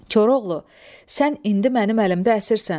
Koroğlu, sən indi mənim əlimdə əsirsən.